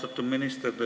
Austatud minister!